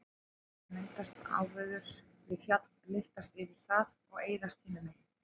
dropar sem myndast áveðurs við fjall lyftast yfir það og eyðast hinu megin